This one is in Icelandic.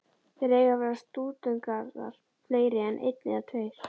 Þar eiga að verða stúdentagarðar, fleiri en einn eða tveir.